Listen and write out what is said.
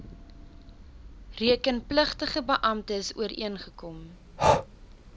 rekenpligtige beamptes ooreengekom